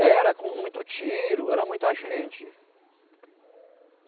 Era com muito tiro, era muita gente.